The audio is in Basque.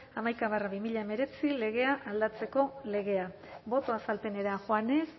hamaika barra hemeretzi legea aldatzeko legea boto azalpenera joanez